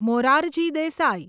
Morarji Desai